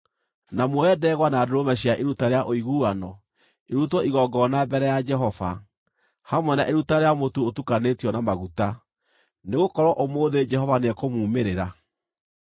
na muoye ndegwa na ndũrũme cia iruta rĩa ũiguano irutwo igongona mbere ya Jehova, hamwe na iruta rĩa mũtu ũtukanĩtio na maguta. Nĩgũkorwo ũmũthĩ Jehova nĩekũmuumĩrĩra.’ ”